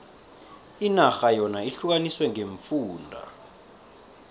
inarha yona ihlukaniswe ngeemfunda